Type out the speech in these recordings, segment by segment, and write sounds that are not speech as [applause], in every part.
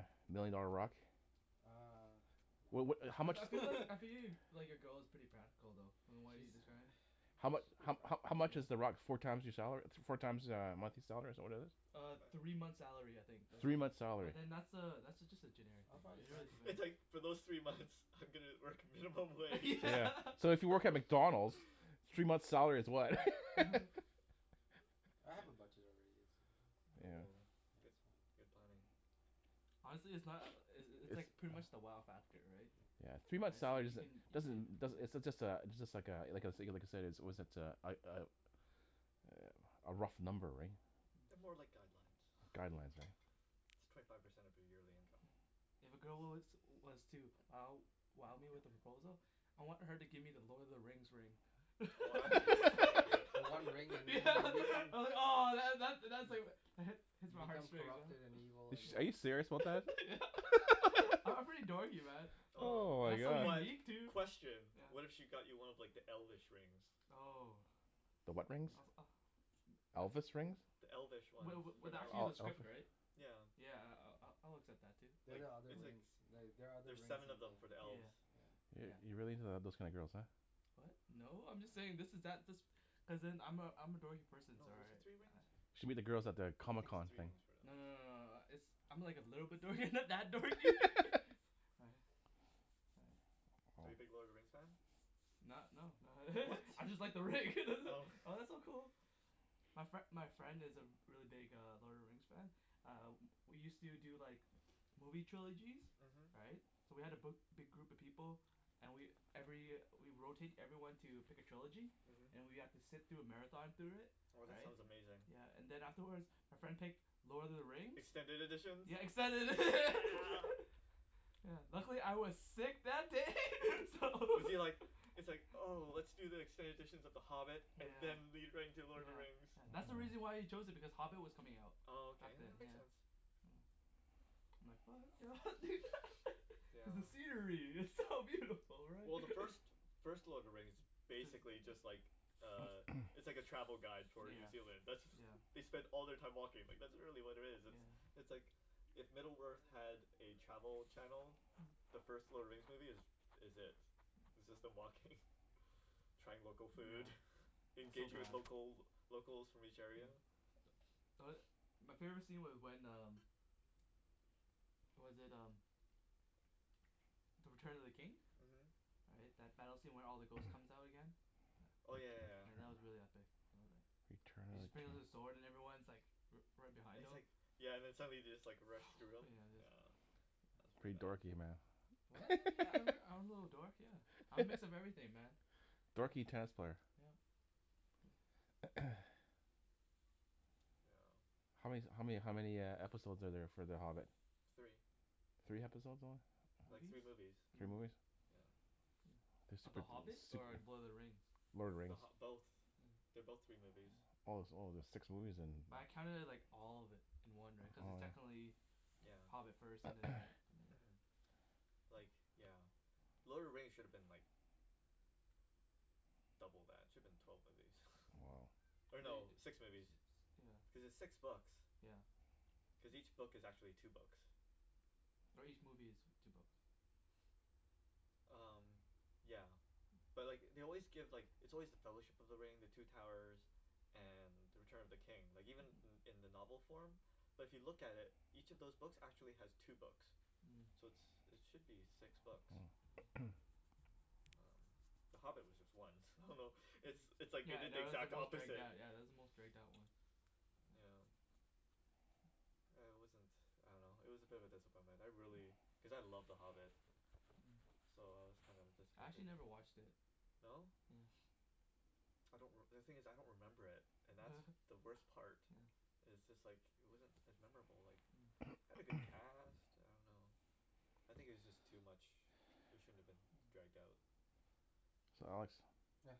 million dollar rock? uh Well no what how I much? I feel like [laughs] I [laughs] feel like your girl is pretty practical though from what She uh you described. How yeah she's mu- pretty how how practical. how much is the rock four times your salary? Four times uh a monthly salary is that what it is? uh Three three months' months' salary. salary. I'll probably spend It's like for those three months I'm gonna work minimum wage. Yeah [laughs] so if you work at McDonalds [laughs] three months' salary is what? [laughs] [laughs] I have a budget already. Yeah. Oh good That's fine. good planning. Honestly it's not uh uh [noise] it's it's pretty much the wow factor right. yeah yeah three months' right so salary you can doesn't doesn't uh does- it's just a it's just like uh like I said like I like I said a a was it uh uh a rough number right They're more like guidelines guidelines right It's twenty five percent of your yearly income. Yeah. If a girl was was to wow wow me with a [noise] proposal I want her to give me the Lord of the Rings ring [laughs] Oh that'd be insane [laughs] yeah [inaudible] ahh that that's Hmm hits You my heart become straight corrupted and evil and Ar- are you yeah serious [inaudible] [laughs] yeah [laughs] I'm [laughs] pretty dorky man Ohh Oh That's so my but God. unique too question, what if yeah. she got you one of like the elfish [noise] rings? Oh The what rings? I was ah uh that's Elvis rings? yeah The elfish ones, wa- for was the elves, actually in Oh the script elvish right? yeah. yeah I- I'll- I'll accept that too. They're Like the other it's like rings the- they are other there's rings seven of in them the for the elves. yeah yeah You're yeah you're really into uh those kinds of girls huh? what? no. I'm just saying this is that this cuz then I'm a I'm a dorky person [inaudible] No is it three rings? ah You should meet the girls at the I Comic think it's Con three thing. rings for the no no elves. no no uh it's I'm like a little bit dorky [laughs] not that dorky [laughs] [laughs] right. right Are you big Lord of the Rings fan? Not no not What? [laughs] I just like the ring [laughs] that it Oh oh that's so cool my fri- my friend is a re- really big Lord of the Rings fan ah we use to do like movie trilogies, uh-huh. right so we had a bi- big group of people and we every we rotate everyone to pick a trilogy uh-huh. and we have to sit through a marathon through it Oh that right sounds amazing. yeah and then afterwards our friend picked Lord of the Rings Extended editions? Yeah extended edi- [laughs] Yeah. yeah luckily I was sick that day [laughs] so [laughs] Was he like, it's like oh let's do the extended editions of the Hobbit and yeah. then lead right into Lord of the yeah Rings. yeah that's Hmm why he chose it because Hobbit was coming out Oh okay, back then that makes yeah. sense hm I'm like fuck [inaudible] [laughs] yeah because the scenery is so [laughs] beautiful right Well the first [laughs] first Lord of the Rings is be- basically just like uh It's [noise] like a travel guide for New yeah Zealand, that's yeah they spend all their time walking, like that's really what it is yeah it's like if Middle Earth had a travel channel Hm the first Lord of the Rings movie is is it Hmm it's just them walking trying local food, yeah that's so engaging with bad local locals from each area. yeah tho- my favorite scene was when um was that um The Return of the King uh-huh right that battle scene where all the ghost comes [noise] out again yeah oh yeah yeah yeah yeah that was really epic [inaudible] He just brings out his [inaudible] sword and everyone's like righ- right And behind he's him like, yeah and then somebody just like runs through him, put yeah just yeah. That's pretty Pretty bad. dorky what? man yeah I'm [laughs] I'm a little dork yeah I'm a mix of [laughs] everything man Dorky tennis player yup [noise] [noise] yeah how man- how many how many uh episode are there for The Hobbit? Three. Three episode only Like movies. three movies. three Three movies movi- Yeah yeah. Of The Hobbit or Lord of the Rings? [inaudible] Lord of the The RIngs Hobbi- both, oh they're both three movies. yeah Oh oh there's six movies yeah, then but I counted it like all of it in one right cuz it's Oh yeah technically yeah Hobbit first and then right [noise] but yeah [noise] yeah Like yeah. Lord of the Rings should've been like double that, it should've been twelve movies. woah or uh-huh. no li- six six movies yeah cuz it's six books yeah cause each book is actually two books or each movie is two books umm yeah But like they always give like it's always The Fellowship of the Ring the Two Towers and The Return of the King. Like even uh-huh in in the novel form but if you look at it each of those books actually has two books Mm So it's it should be six books Mm [noise] umm, The Hobbit was just one, I don't know it's Mm it's like they yeah did the that was the exact most dragged opposite out yeah that was the most dragged out one yeah yeah huh uh it wasn't I don't know it was a bit of a disappointment, I really, Mm cuz I love The Hobbit Hmm So I was kinda I disappointed actually never watched it No? yes I don't reme- the thing is I don't remember it and [laughs] that's the worst part yeah it's just like it wasn't as memorable like Hmm it had a good cast, [noise] [noise] I don't know I think it was just too much it shouldn't have been Hmm dragged out. So Alex yeah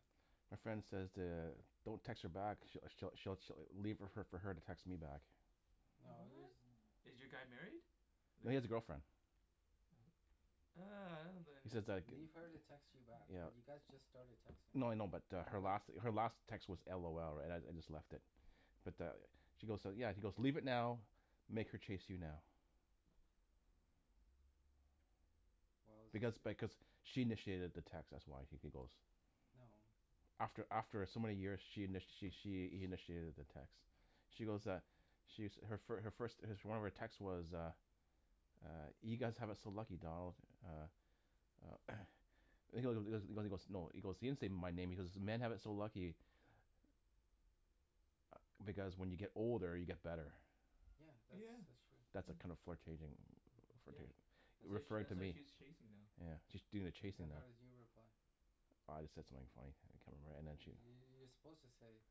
My friend says to don't text her back she'll she'll she'll leave fo- leave it for her to text me back No What? use- th- Is your guy married? No he has a girlfriend [inaudible] [inaudible] ah He says like [inaudible] Leave her to text you back but yeah you yeah guys just started No texting no I know but uh her last her last text was LOL right I I just left it Yeah but uh She goes yeah he's goes leave it now make her chase you now Well it's Because just th- because she initiated the text that's why he goes No After after some many years she in- she she initiated the text She goes uh She's her first her first one of her text text was uh uh you guys have it so lucky Donald uh uh [noise] He he goes he goes no he goes he didn't say my name he goes "men have it so lucky" ah because when you get older you get better Yeah that's yeah that's true That's a kind yeah of flurtating yeah uh-huh That's why referring referring to that's why me she's chasing now yeah she's doing the chasing Then now how did you reply I just said something funny I can't remember and then she you're suppose to say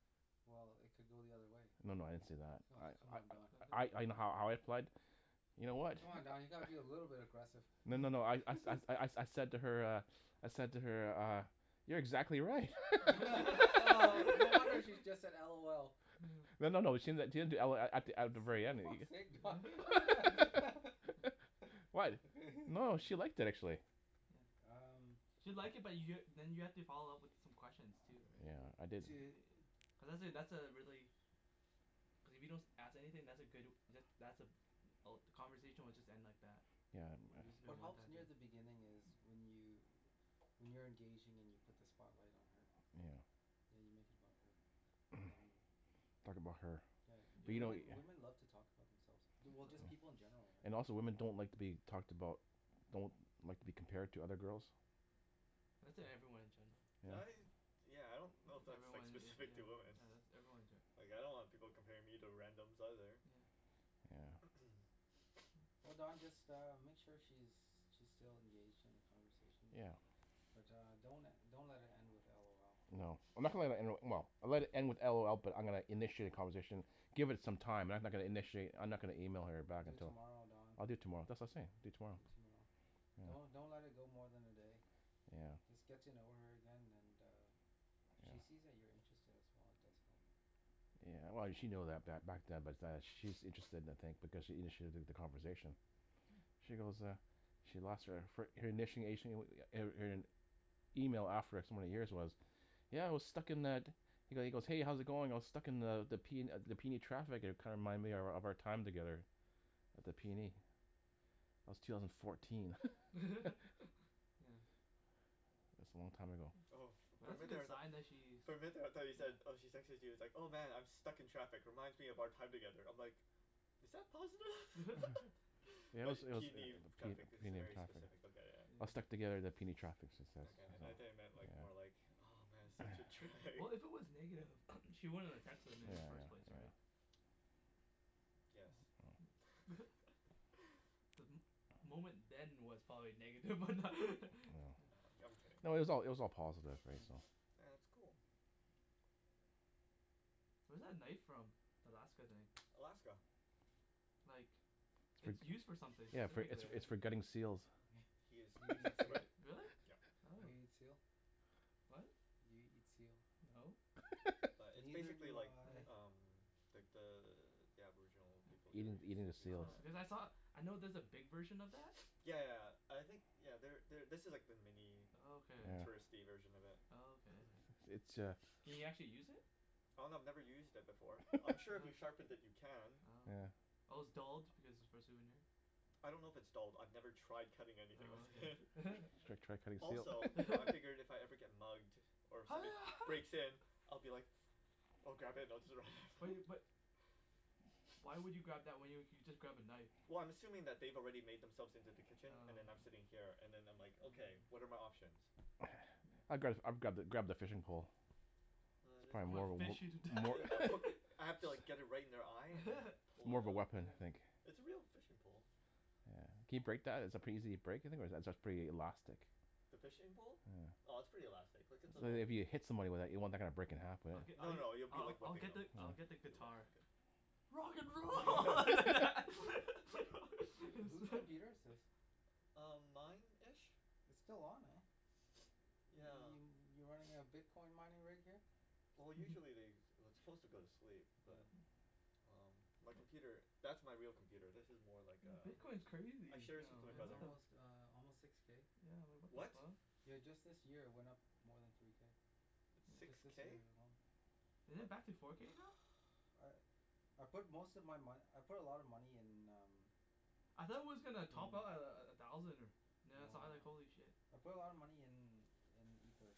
well it could go the other way No no I didn't say that Oh come I on Don I I [inaudible] I know how I I fled You know what Come on Don you gotta be a little bit agressive No no no I Hmm I [laughs] I, I said to her uh I said to her uh You're exactly right [laughs] [laughs] [laughs] oh no wonder [laughs] she just said LOL Hmm No no no she didn- she didn't do LOL at th- at the very For end fuck's sake guy [laughs] [laughs] [laughs] Huh Why? No [laughs] she liked it [noise] actually yeah Um She'll like it but you're then you have to follow up with some questions too right Yeah I didn't To [noise] cuz that that's a really cuz if you don't as- ask anything that's a good that that's a all the conversation will just end like that Yeah Or I it'll I just Wh- be a what one helps time near thing the beginning is when you when you're engaging and you put the spotlight on her Hmm yeah you make it about her and then [noise] you talk about her yeah But you know women yeah women love to talk about [noise] themselves du- just people Yup in general right And also women don't like to be talked about Don't like to be compared to other girls That's e- everyone in general, yeah yeah. I yeah I don't know if that's that's like everyone yea- specific to yeah women yeah that's everyone ge- like I don't want people comparing me to randoms either. yeah Yeah [noise] Oh Don just uh [noise] make sure she's she's still engaged in the conversation yeah but uh don't le- don't let it end with LOL No I'm not gonna le- let it end, well I'll let it end with LOL but I'm gonna initiate a conversation Give it some time I'm no- not gonna initiate I'm not gonna email her back Do it until tomorrow Don I'll do it tomorrow that's what I was saying I'll do it tomorrow Do it tomorrow yeah Don't don't let it go more than a day yeah Just get to know her again and uh if she yeah sees that you're interested as well it does help Yeah well she know that ba- back yeah but that she's interested in a thing because she initiated th- the conversation she goes uh She lost her fir- her initiation er er her email after so many years was yeah I was stuck in the He he goes hey how's it going I was stuck in the the the P the PNE traffic and it kinda reminded me of of our time together at the PNE That was two thousand fourteen [laughs] [laughs] yeah It's a long time ago Oh for But for a that's a minute there I good was like sign that she's For a minute there I though you said yeah oh she texted you it's like "oh man I'm stuck in traffic reminds me of our time together" I"m like is that positive? [laughs] yeah [laughs] Yeah it but was it was P PNE traffic that's a PNE very traffic specific look at it. I was stuck yeah together at the PNE traffic she says, okay yeah I though you yeah meant like more like oh man such a [noise] yeah we- drag. well if it was negative [noise] she She wouldn't wouldn't have have texted texted him i- me in in the the first first place place right yes Hmm [laughs] The mo- moment then was probably negative but that [laughs] Oh I'm I'm kidding No it was all it was yeah all positive right yeah so? yeah that's cool Where's that knife from the Alaska thing Alaska like It's It's used for for something yeah its specifically for yeah its for yeah gutting seals He is Do you eat exactly seal? right, [laughs] Really? yup. Oh Do you eat seal? What? Do you eat seal? no [laughs] But it's Neither basically do like I uh-huh umm like the the aboriginal people yeah over there eating use eating the use seals Oh knives because I saw, I know there's a big version of that [noise] [noise] yeah yeah I think you know there there this is the mini Oh okay. yeah touristy version of it Oh okay [noise] It's uh Can you [noise] actually use [noise] it? Oh no I've never used it before, I'm [laughs] sure if you Oh sharpen it you can. Oh okay yeah Oh its dulled because it's for a souvenir I don't know if its dulled I've never tried cutting anything with Oh it [laughs] okay you [laughs] should try cutting seal Also you know I [laughs] figured [laughs] if I ever get mugged or ho somebody ha breaks in [laughs] I'll be like oh God. Bu- you [inaudible] but wh- why would you [noise] [noise] grab that when you you could just grab a knife Well I'm assuming that they've already made themselves into the kitchen and oh then I'm sitting yeah here and them I'm like okay oh what are my options? [noise] Hmm I'd gra- I'd grab grab the fishing pole Oh It's it is I probably wanna pretty more wo- fish you to death more I [laughs] put [laughs] I have to like [noise] get it right in their eye and then [laughs] More of a [noise] weapon I think yeah It's a real fishing pole. Yeah can you break that is it pretty easy to break you think or is it pretty elastic The fishing pole? yeah Oh it's pretty elastic, like it's an So that old if Hmm you hit someone with that you don't want that to kinda break in half but I'l- No I'll no you'll I- be I- like I'll whipping get them the I'll Oh get the You'll whip them guitar good Rock and roll [laughs] [laughs] [noise] Who who's computer [laughs] [inaudible] is this? Um mine ish It's still on eh [noise] [noise] yeah y- you running a [noise] [noise] bitcoin mining rig here? Well Hmm hmm usually they it- it's suppose to go to sleep oh but um my yup computer that's my real computer this is more like No uh bitcoin's I crazy share this with my yeah no it's what brother the almost uh almost six k yeah like what the what? fuck yeah just this year it went up more than three k It's six just yeah this k? year alone Is it back to [noise] uh four k now? [noise] I I put most of my mone- I put a lot of money in um I thought it was gonna top Mm out a- a- at a thousand or now I No saw it I was like no holy shit I put a lot of money in in ether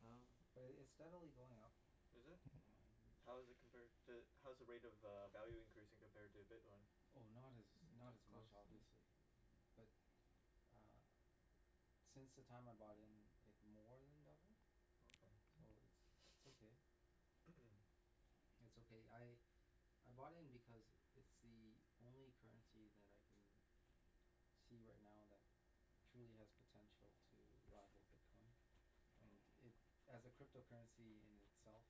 Oh okay but it it's steadily going up Is it? yeah yeah [inaudible] How's it compared to how's the rate of uh value increasing compared to bitcoin? Oh not as not not as much close yeah obviously bu- but ah since the time I bought in it more then doubled okay so it's it's okay [noise] [noise] [noise] It's okay I I bought in because it's the only currency that I can see right now that truly has potential to rival bitcoin and oh it, as a crypto currency in itself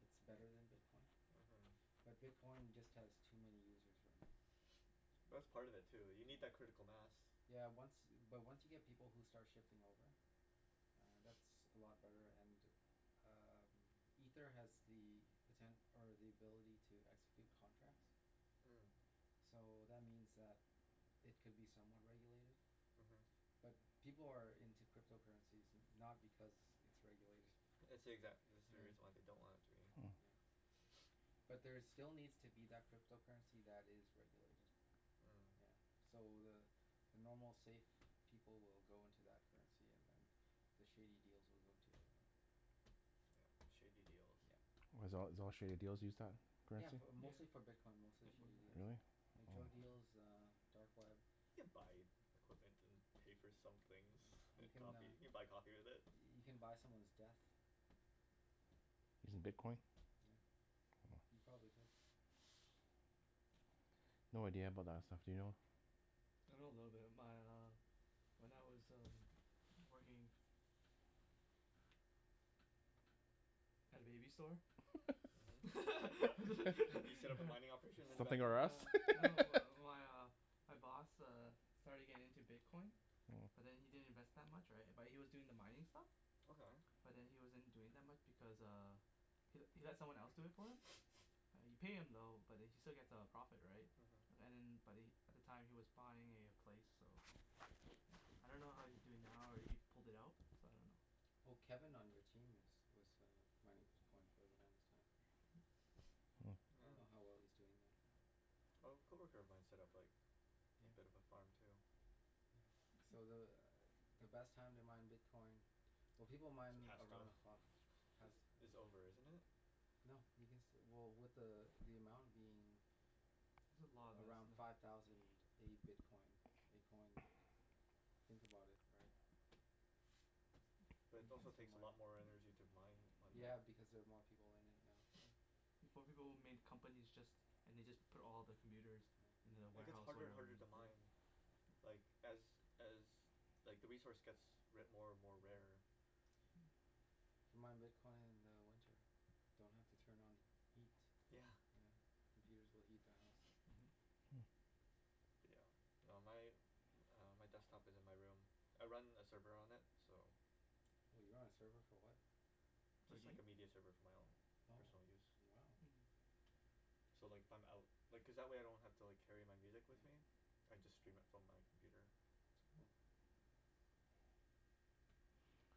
it's better then bitcoin uh-huh but bitcoin just has too many users right now [noise] [noise] but that's part of it too you need that yeah critical mass yeah once but once you get people who start shifting over uh that's [noise] [noise] a lot better and um ether has the poten- or the ability to execute contracts Hmm so that means that it could be somewhat regulated uh-huh but people are in to crypto currencies no- not because it's regulated It's the exact- That's the yeah reason they don't want it to be Hmm huh [noise] but there still needs to be that crypto currency that is regulated yeah Hmm so the the normal safe people will go into that currency and then the shady deals will go into the other one Yup shady deals yup why it's all it's all shady deals use that yeah currency? bu- yeah mostly for bitcoin mostly and one shady other deals Really? thing like drug oh deal yeah um dark web You can buy equipment and pay for some things you can coffee you uh can can buy coffee with it you can buy someone's death Using bitcoin? yeah you oh [noise] probably could No idea about that stuff do you know? I know a little bit my uh when I was working at a baby store [laughs] uh-huh You set up a mining [laughs] operation in the back Something room r' Us Uh no [laughs] my my uh my boss uh starting getting into bitcoin but then he didn't invest that much right but he was doing the mining stuff Okay but then he wasn't doing that much because uh he he let someone else do it for him [noise] yeah you pay him though but then he still get a profit right an- uh-huh and then but he at the time was buying a place so yeah I don't know how he's doing now or if he pulled it out so I don't know Well Kevin on your team is was uh mining bitcoin for the longest time Hmm I [noise] don't know how well he's doing oh though Oh a co-worker of mine set-up like a bit of a yeah farm too yeah so the uh the best time to mine bitcoin well people It's mine passed though around the clock Is pass it's oh over isn't it? No you can still well with the uh the amount being There's a lot of us around now five thousand a bitcoin a coin [noise] think about it [noise] right But it you can also still takes yeah, a mine lot more yeah energy to mine one now yeah yeah because they're more people in it now yeah [noise] Before people would made companies just and they just put all the computers yeah in the And it get's warehouse harder and whatever harder to mine like as as like the resource gets ra- more and more uh-huh rarer Hmm you mine bitcoin in the winter don't have to turn on heat yeah yeah computers will heat the house [noise] uh-huh yeah no my uh my desktop is in my room I run a server on it so For a Just like game a media server for my own oh personal use wow Hmm So like if I'm out Like cuz that way I don't have to like carry my music yeah with me. I just stream it from my computer uh-huh it's cool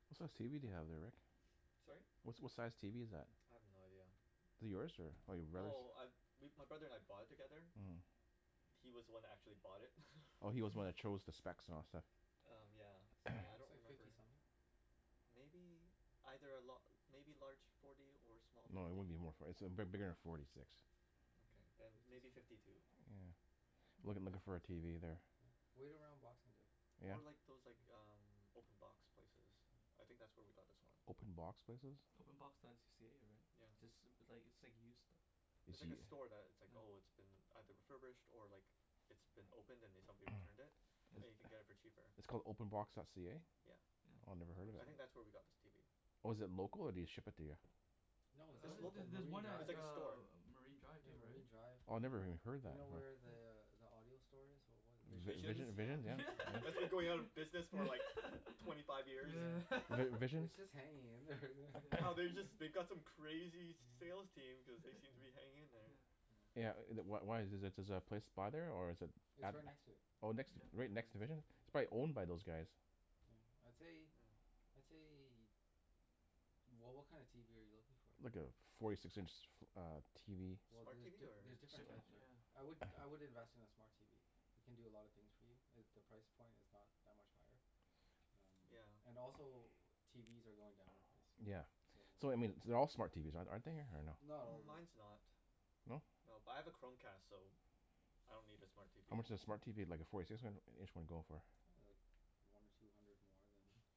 What size tv do you have there Rick? Sorry? Wha- what size tv is that? I have no idea Is it yours or your brother's? Well I we my brother and I bought it together Hmm He was the one who actually bought it [laughs] Oh he's was the one who Hmm chose the specs and all that stuff Um yeah so [noise] I don't looks [noise] like remember fifty something Maybe. Either a la- maybe larger forty or small No it fifty wouldn't be more for- it's big- bigger then forty six Okay yeah then fifty maybe something fifty two yeah I'm looking looking If Hmm for a that then tv there yeah wait around boxing day yeah Or like those like um open box places I think that's where we got this one Open box places? openbox.c- ca right? Yeah yeah It's ju- it's like it's like used stuff It's It's like use- a store that it's like yeah oh it's been either refurbished or like it's been opened and then somebody returned it [noise] [noise] and you yeah can get it for cheaper. It's called openbox.ca? Yeah yeah Oh I never it's a head of I it think website that's where we got this tv. Oh is it local or do they ship it to you? no it's uh It's local there's just local, there's Marine one at it's Drive like a uh store Marine Drive yeah too right Marine Drive Oh I never uh-huh even heard you that know where yeah the uh the audio store is what was it Visions Visions Vision Yeah and [inaudible] Vi- yeah That's been going out of business [laughs] for yeah like twenty five years [laughs] yeah [laughs] yeah Vi- Visions its just hanging in there Wow yeah they just [noise] they've got some [laughs] crazy sales yeah team cuz they seem to be yeah hanging in [laughs] there yeah yeah yeah Yeah uh wh- wh- why is the is the place by there or is it its at right next to it Oh next yeah yeah right right next to next to Vision it It's probably [inaudible] year owned by those guys yeah I'd say Hmm I'd say wha- what kind of tv are you looking for? Like a forty six inch uh tv well Smart tv the- or there's different different types there yeah I would [noise] I would invest in a smart tv it can do a lot of things for you and the price point is not that much higher um yeah and also TVs are going down in price yeah so um so I mean th- their all smart TVs are- aren't they or no? not all of them Mines no not No but I have a Chromecast so I don't need a smart TV How much does a smart Hmm TV like a forty six in- inch one go for? ah like one or two hundred more than [laughs]